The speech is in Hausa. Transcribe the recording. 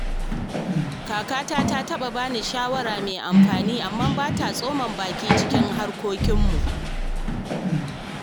Kakata ta saba ba ni shawara mai amfani amma ba ta tsoma baki cikin harkokinmu.